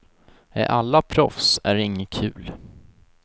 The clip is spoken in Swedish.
Är alla proffs är det inget kul.